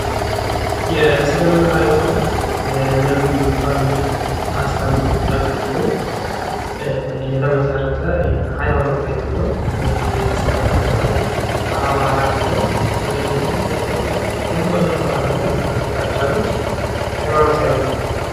የእስልምና ሀይማኖት የነብዩ ሙሀመድን አስተምሮ ተከትሎ የተመሰረተ የሀይማኖት አይነት ነው ። እና ይህ የእስልምና ሀይማኖት በአማራ ክልል እንደዚሁም በኢትዮጵያ እንዲሁም በመላው አለም ላይ ብዙ ተከታዮች ያሉት የሀይማኖት አይነት ነው ።